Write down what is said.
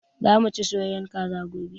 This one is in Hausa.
Za mu ci soyayyen Kaza gobe